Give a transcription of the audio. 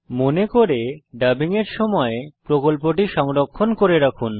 মনে করে ডাবিং এর সময় প্রকল্পটি সংরক্ষণ করে রাখুন